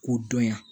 K'o dɔnya